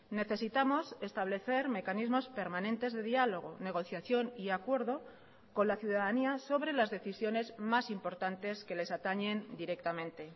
necesitamos establecer mecanismos permanentes de diálogo negociación y acuerdo con la ciudadanía sobre las decisiones más importantes que les atañen directamente